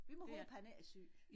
Vi må håbe han ikke er syg